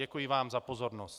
Děkuji vám za pozornost.